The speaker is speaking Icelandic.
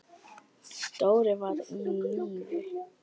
Dóri var á lífi.